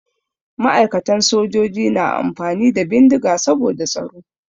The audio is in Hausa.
Ma'aikatan sojoji na amfani da bindiga saboda tsaro.